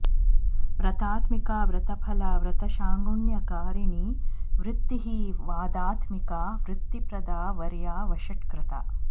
व्रतात्मिका व्रतफला व्रतषाड्गुण्यकारिणी वृत्तिः वादात्मिका वृत्तिप्रदा वर्या वषट्कृता